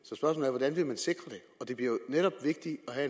hvordan vil man sikre det det bliver jo netop vigtigt at